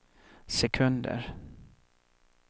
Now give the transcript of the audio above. sekunder